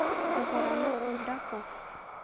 Ngũgũra matunda kũũ?